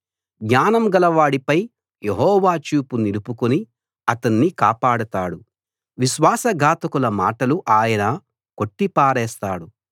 జ్ఞానం గలవాడిపై యెహోవా చూపు నిలుపుకుని అతణ్ణి కాపాడతాడు విశ్వాస ఘాతకుల మాటలు ఆయన కొట్టి పారేస్తాడు